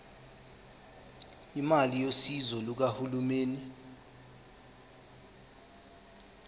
imali yosizo lukahulumeni